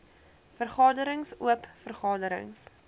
vergaderings oop vergaderings